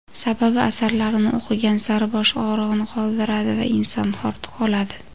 sababi asarlarini o‘qigan sari bosh og‘rig‘ini qoldiradi va inson hordiq oladi.